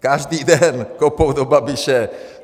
Každý den kopou do Babiše.